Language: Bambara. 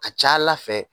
Ka ca ala fɛ